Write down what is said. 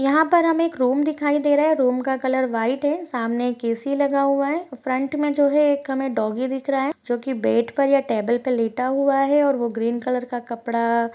यहाँ पर हमें एक रूम दिखाई दे रहा है रूम का कलर व्हाइट है सामने एक ऐ-सी लगा हुआ है फ्रंट में जो है एक हमे डॉगी दिख रहा है जोकि बेड पर या टेबल पर लेटा हुआ है और वो ग्रीन कलर का कपड़ा--